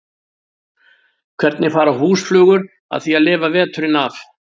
Hvernig fara húsflugur að því að lifa veturinn af?